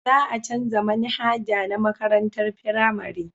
Za a canja manhaja na makarantar firamare